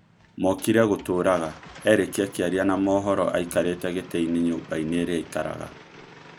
Mokire gũtũũraga," Erĩki akĩaria na Maũhoro aikarĩte gĩtĩinĩ nyumbainĩ ĩrĩa aikaraga.